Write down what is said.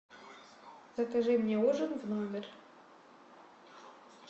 закажи мне ужин в номер